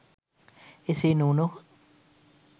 එසේ නොවුන හොත්